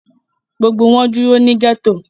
Gbogbo wọn dúró ní ghetto.